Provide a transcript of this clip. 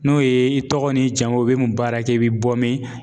N'o ye i tɔgɔ n'i jamu i bɛ mun baara kɛ i bɛ bɔ min?